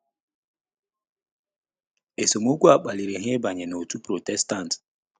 Esemokwu a kpaliri ha ịbanye n’òtù Protestant.